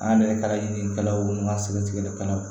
An yɛrɛ ye kalalikɛlaw ɲini ka sɛgɛn tigɛli kɛlaw